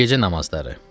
Gecə namazları.